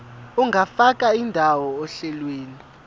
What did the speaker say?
ungafaka indawo ohlelweni